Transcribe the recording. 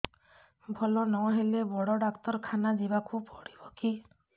ଭଲ ନହେଲେ ବଡ ଡାକ୍ତର ଖାନା ଯିବା କୁ ପଡିବକି